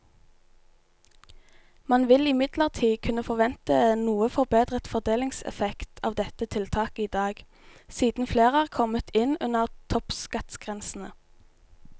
Man vil imidlertid kunne forvente noe forbedret fordelingseffekt av dette tiltaket i dag, siden flere er kommet inn under toppskattgrensene.